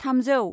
थामजौ